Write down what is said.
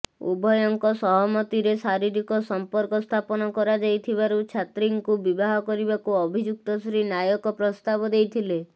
ଉଭୟଙ୍କ ସହମତିରେ ଶାରୀରିକ ସମ୍ପର୍କ ସ୍ଥାପନ କରାଯାଇଥିବାରୁ ଛାତ୍ରୀଙ୍କୁ ବିବାହ କରିବାକୁ ଅଭିଯୁକ୍ତ ଶ୍ରୀ ନାୟକ ପ୍ରସ୍ତାବ ଦେଇଥିଲେ